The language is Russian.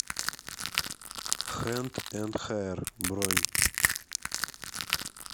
хэнд энд хэир бронь